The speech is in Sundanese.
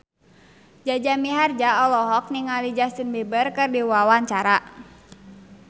Jaja Mihardja olohok ningali Justin Beiber keur diwawancara